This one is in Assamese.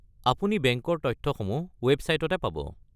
আপুনি বেংকৰ তথ্যসমূহ ৱেবছাইটতে পাব।